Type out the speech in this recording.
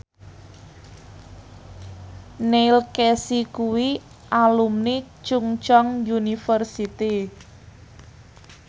Neil Casey kuwi alumni Chungceong University